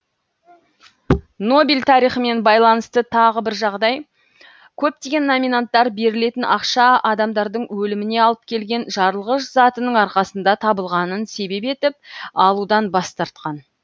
нобель тарихымен байланысты тағы бір жағдай көптеген номинанттар берілетін ақша адамдардың өліміне алып келген жарылғыш затының арқасында табылғанын себеп етіп алудан бас тартқан